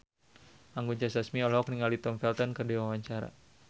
Anggun C. Sasmi olohok ningali Tom Felton keur diwawancara